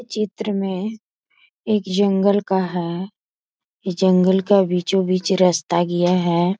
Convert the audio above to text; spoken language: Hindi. चित्र में एक जंगल का है जंगल का बीचो बीच रास्ता गया है।